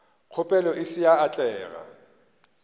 kgopelo e se ya atlega